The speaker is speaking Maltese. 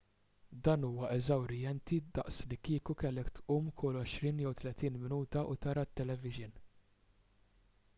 dan huwa eżawrjenti daqs li kieku kellek tqum kull għoxrin jew tletin minuta u tara t-televixin